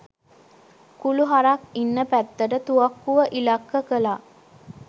කුළු හරක් ඉන්න පැත්තට තුවක්කුව ඉලක්ක කළා